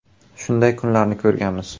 Shunday kunlarni ko‘rganmiz.